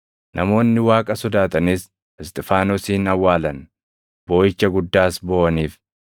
Namoonni Waaqa sodaatanis Isxifaanosin awwaalan; booʼicha guddaas booʼaniif.